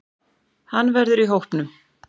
Hann verður í hópnum.